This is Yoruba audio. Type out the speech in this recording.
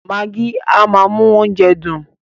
Magí a máa mú oúnjẹ dùn.